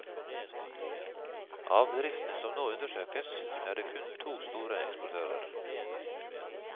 Av bedriftene som nå undersøkes, er det kun to store eksportører.